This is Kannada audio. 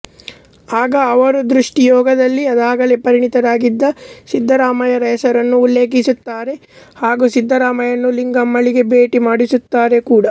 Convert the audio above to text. ಆಗ ಅವರು ದೃಷ್ಟಿ ಯೋಗದಲ್ಲಿ ಅದಾಗಲೇ ಪರಿಣತರಾಗಿದ್ದ ಸಿದ್ಧರಾಮರ ಹೆಸರನ್ನು ಉಲ್ಲೇಖಿಸುತ್ತಾರೆ ಹಾಗು ಸಿದ್ಧರಾಮರನ್ನು ಲಿಂಗಮ್ಮಳಿಗೆ ಭೇಟಿ ಮಾಡಿಸುತ್ತಾರೆ ಕೂಡ